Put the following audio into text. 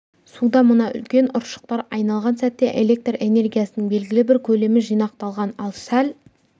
суда мына үлкен ұршықтар айналған сәтте электр энергиясының белгілі бір көлемі жинақталған ал сәл